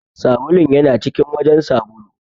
Sabulun ya na cikin wajen sabulu.